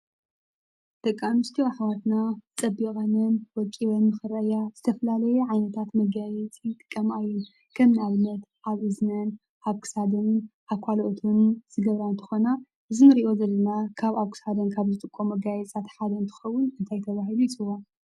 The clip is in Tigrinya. ደቂ ኣንስትዮ ኣሕዋትና ፀቢቀንን ወቂበንን ንክረኣያ ዝተፈላለየ ዓይነታት መጋየፂ ይጥቀማ እየን. ከም ኣብነት ኣብ እዝነን ኣብ ክሳደንን ኣብ ካልኦትን ዝገብራ እንትኮና እዚ ንሪኦ ዘለና ካብ ኣብ ክሳደን ካብ ዝጥቀምኦ መጋየፂታት ሓደ እንትከውን እንታይ ተባሂሉ ይፅዋዕ ?